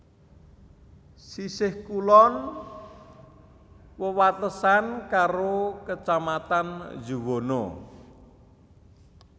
Sisih kulon wewatesan karo Kacamatan Juwana